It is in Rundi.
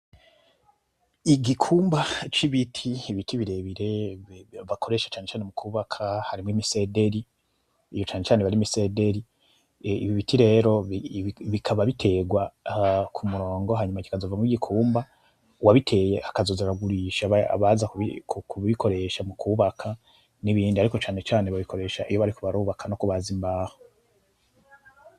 Igikumba cibiti ibiti birebire bakoresha cane cane mukubaka harimo imisederi, iyo cane cane aba ari imisediri. Ibi biti rero bikaba biterwa kumurongo hanyuma kikazovamo igikumba uwubiteye akazoza aragurisha abaza kubikoresha mukubaka nibindi ariko cane cane babikoresha iyo bariko barubaka nokubaza imbaho.